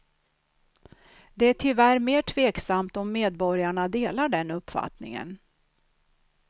Det är tyvärr mer tveksamt om medborgarna delar den uppfattningen.